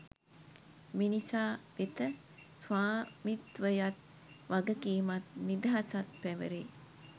මිනිසා වෙත ස්වාමිත්වයත් වගකීමත් නිදහසත් පැවැරේ